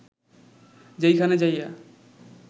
যেইখানে যাইয়া